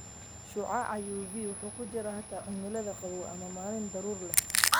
Shucaaca UV wuxuu ku jiraa xitaa cimilada qabow ama maalin daruuro leh.